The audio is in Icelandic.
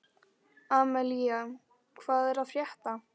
Amalía, hvað er að frétta?